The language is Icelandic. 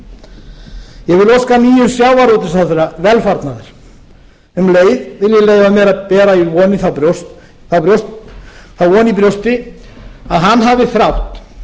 óska nýjum sjávarútvegsráðherra velfarnaðar um leið vil ég leyfa mér að bera þá von í brjósti að hann hafi þrátt